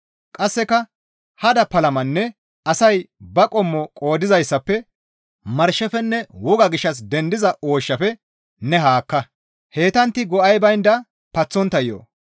Qasseka hada palamappenne asay ba qommo qoodizaazappe, marshefenne woga gishshas dendiza ooshshafe ne haakka; heytantti go7ay baynda paththontta yo7o.